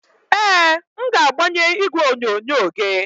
Ee, m ga-agbanwe igwe onyonyo gị.